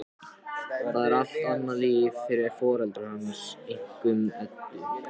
Það er allt annað líf fyrir foreldra hans, einkum Eddu.